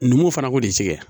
Numuw fana k'o de tigɛ